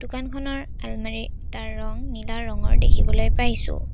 দোকানখনৰ আলমাৰি এটাৰ ৰং নীলা ৰঙৰ দেখিবলে পাইছোঁ।